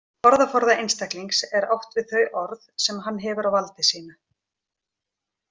Með orðaforða einstaklings er átt við þau orð sem hann hefur á valdi sínu.